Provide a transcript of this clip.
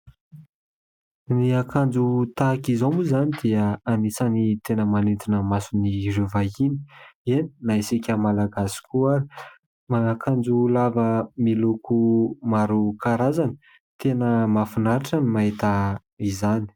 Ny akanjo tahaka izao moa izany dia anisany tena manintona masony ireo vahiny eny, na isika Malagasy koa ary manan'akanjo lava miloko maro karazany tena mahafinaritra ny mahita izany.